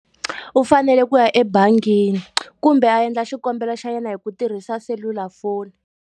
U fanele ku ya ebangini, kumbe a endla xikombelo xa yena hi ku tirhisa selulafoni.